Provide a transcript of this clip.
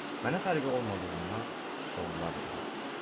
Mənə fərqi olmadığından suallar da yoxa çıxdı.